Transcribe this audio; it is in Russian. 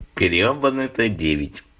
гребаный т девять